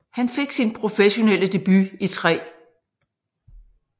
Han fik sin professionelle debut i 3